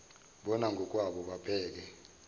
bona ngokwabo babheke